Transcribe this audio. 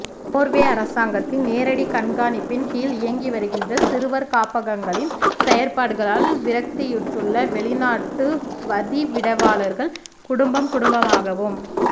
Norway அரசாங்கத்தின் நேரடி கண்காணிப்பின் கீழ் இயங்கி வருகின்ற சிறுவர் காப்பகங்களின் செயற்பாடுகளால் விரக்தியுற்றுள்ள வெளிநாட்டு வதிவிடவாளர்கள் குடும்பம் குடும்பமாகவும்